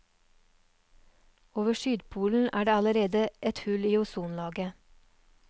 Over sydpolen er det allerede et hull i ozonlaget.